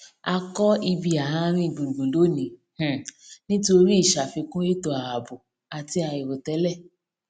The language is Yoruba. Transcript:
a kọ ibi àárín gbùngbùn lónìí um nítorí ìṣàfikún étò ààbò àti àìròtẹlẹ